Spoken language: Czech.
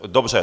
Dobře.